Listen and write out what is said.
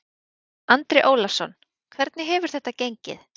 Andri Ólafsson: Hvernig hefur þetta gengið?